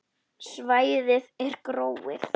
Svæðið er gróið.